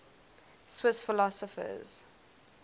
swiss philosophers